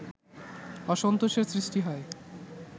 অসন্তোষের সৃষ্টি হয়